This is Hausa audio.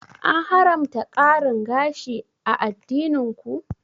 An haramta ƙarin gashi a addinin ku?